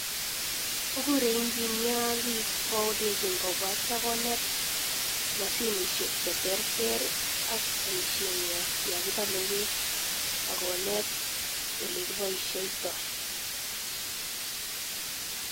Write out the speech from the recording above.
Kokure engineer bik kolenchin kobwa atya konet mashinishek che terter ak paishet nwa ya kibale beek akonet olekiposhetai